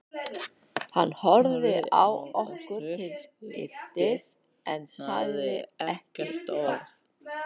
Hann horfði á okkur til skiptis en sagði ekki orð.